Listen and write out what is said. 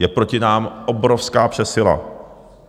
Je proti nám obrovská přesila.